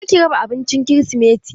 Kar ki raba abincin kirisimeti!